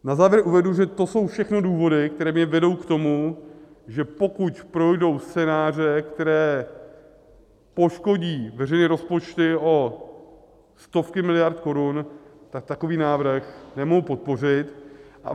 Na závěr uvedu, že to jsou všechno důvody, které mě vedou k tomu, že pokud projdou scénáře, které poškodí veřejné rozpočty o stovky miliard korun, tak takový návrh nemohu podpořit.